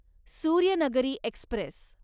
Suryanagari Express